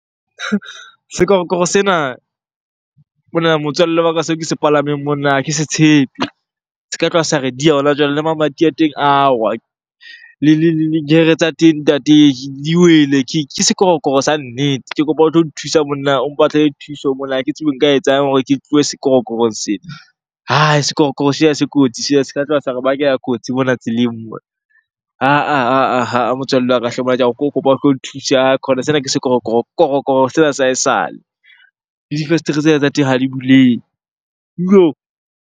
Sekorokoro sena monna motswalle wa ka, seo ke se palameng monna ha ke se tshepe. Se ka tloha sa re diha hona jwale. Le mamati a teng a wa, le gear-re tsa teng ntate di wele, ke sekorokoro sa nnete. Ke kopa o tlo nthusa monna o mpatlele thuso mona, ha ke tsebe nka e etsang hore ke tlohe sekorokorong sena. Hai! Sekorokoro sena se kotsi sena, se ka tloha sa re bakela kotsi mona tseleng mona. Ha-ah, ha-ah, ha-ah motswalle wa ka ka o kopa, kopa o tlo nthusa. Haikhona sena ke sekorokoro, korokoro sena sa ha esale. Le difestere tsena tsa teng ha di buleng yoh!